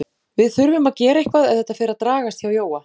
Við þurfum að gera eitthvað ef þetta fer að dragast hjá Jóa.